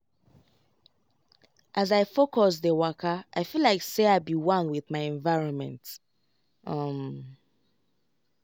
as i focus dey wakai feel like say i be one with my environment. um